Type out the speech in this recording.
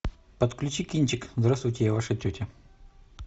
подключи кинчик здравствуйте я ваша тетя